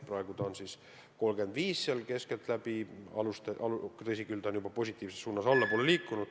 Praegu on see keskeltläbi 35% ja tõsi küll, see on juba positiivses suunas allapoole liikunud.